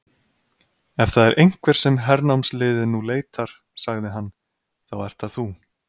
Ef það er einhver sem hernámsliðið nú leitar, sagði hann,-þá ert það þú.